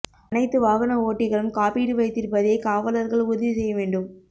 அனைத்து வாகன ஓட்டிகளும் காப்பீடு வைத்திருப்பதை காவலா்கள் உறுதி செய்ய வேண்டும்